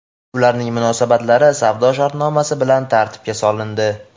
ularning munosabatlari savdo shartnomasi bilan tartibga solindi.